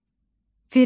Firəngiz.